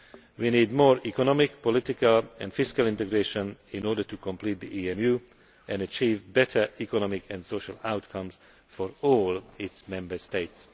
We need more economic, political and fiscal integration in order to complete the EMU and achieve better economic and social outcomes for all Member States.